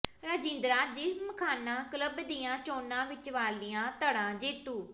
Rajindra Gymkhana club ਦੀਆਂ ਚੋਣਾਂ ਵਿੱਚ ਵਾਲੀਆ ਧਡ਼ਾ ਜੇਤੂ